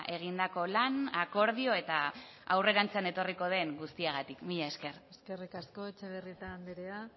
egindako lan akordio eta aurrerantzean etorriko den guztiagatik mila esker eskerrik asko etxebarrieta andrea